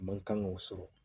Man kan k'o sɔrɔ